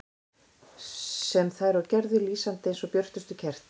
Sem þær og gerðu, lýsandi eins og björtust kerti.